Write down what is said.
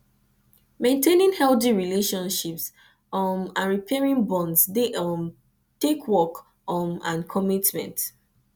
maintaining healthy relationships um and repairing bonds dey um take work um and commitment